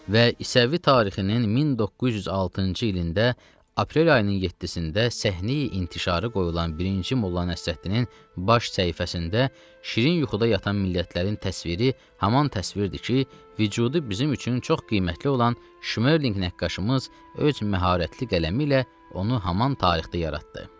Və İsəvi tarixinin 1906-cı ilində, aprel ayının 27-də səhnəyi intişarı qoyulan birinci Molla Nəsrəddinin baş səhifəsində şirin yuxuda yatan millətlərin təsviri haman təsvirdir ki, vücudu bizim üçün çox qiymətli olan Şmerlinq nəqqaşımız öz məharətli qələmi ilə onu haman tarixdə yaratdı.